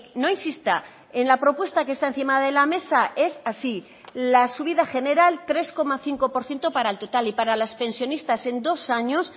no insista en la propuesta que está encima de la mesa es así la subida general tres coma cinco por ciento para el total y para las pensionistas en dos años